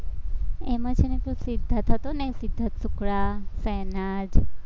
એમાં છે ને કોઈ સિદ્ધાર્થ હતો ને સિદ્ધાર્થ શુક્લા તો એના જે